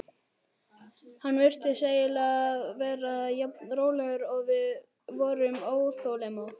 Hann virtist eiginlega vera jafn rólegur og við vorum óþolinmóð.